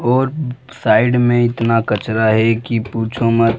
और साइड में इतना कचरा है की पूछो मत |